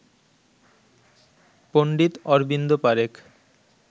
Pandit Arvind Parekh